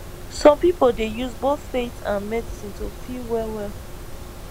some people dey use both faith and medicine to feel wellwell